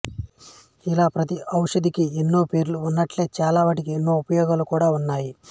ఇలా ప్రతి ఓషధికీ ఎన్నో పేర్లు ఉన్నట్లే చాల వాటికి ఎన్నో ఉపయోగాలు కూడా ఉన్నాయి